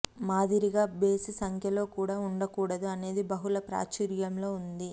మాదిరిగా బేసి సంఖ్యలో కూడా ఉండకూడదు అనేది బహుళ ప్రాచుర్యంలో ఉంది